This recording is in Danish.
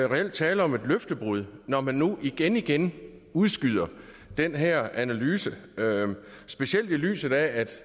reelt tale om et løftebrud når man nu igenigen udskyder den her analyse specielt i lyset af